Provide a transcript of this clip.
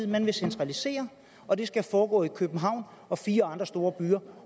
man vil centralisere og det skal foregå i københavn og fire andre store byer